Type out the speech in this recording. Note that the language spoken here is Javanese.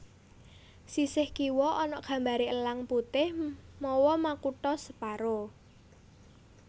Sisih kiwa ana gambaré Elang Putih mawa makutha separo